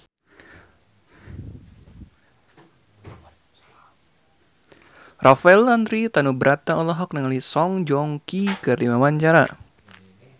Rafael Landry Tanubrata olohok ningali Song Joong Ki keur diwawancara